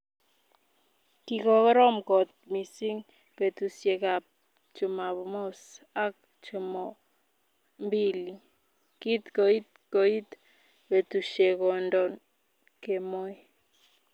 Kikorom kot missing petusiek ap chumamos ak chumombili. Kin koit koit petushechondon kemoi.